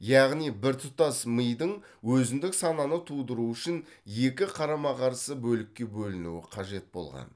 яғни біртұтас мидың өзіндік сананы тудыруы үшін екі қарама қарсы бөлікке бөлінуі қажет болған